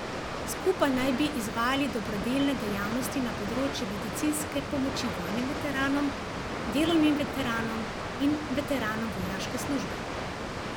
Skupaj naj bi izvajali dobrodelne dejavnosti na področju medicinske pomoči vojnim veteranom, delovnim veteranom in veteranom vojaške službe.